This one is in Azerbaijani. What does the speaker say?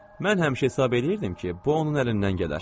Mən həmişə hesab eləyirdim ki, bu onun əlindən gələr.